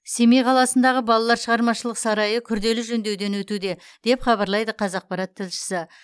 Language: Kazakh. семей қаласындағы балалар шығармашылық сарайы күрделі жөндеуден өтуде деп хабарлайды қазақпарат тілшісі